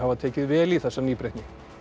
tekið vel í þessa nýbreytni